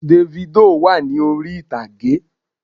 Dèfídò wà ní orí ìtàgé